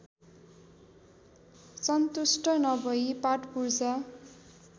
सन्तुष्ट नभई पार्टपुर्जा